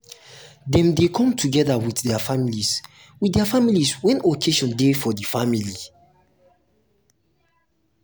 dem de come together with their families with their families when occasion de for the family